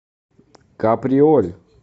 каприоль